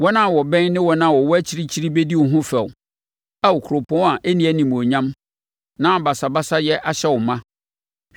Wɔn a wɔbɛn ne wɔn a wɔwɔ akyirikyiri bɛdi wo ho fɛw, Ao Kuropɔn a ɛnni animuonyam, na basabasayɛ ahyɛ no ma.